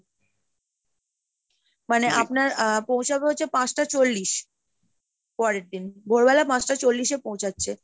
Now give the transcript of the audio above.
মানে আপনার আহ পৌঁছাবে হচ্ছে পাঁচটা চল্লিশ পরেরদিন, ভোরবেলা পাঁচটা চল্লিশে পৌঁছাচ্ছে।